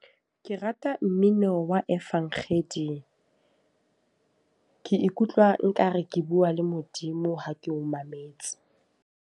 Ke rata mmino wa efankgedi. Ke ikutlwa nka re ke bua le Modimo ha ke o mametse.